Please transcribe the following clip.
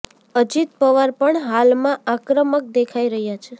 અજીત પવાર પણ હાલમાં આક્રમક દેખાઈ રહ્યા છે